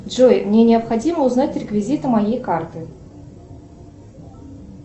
джой мне необходимо узнать реквизиты моей карты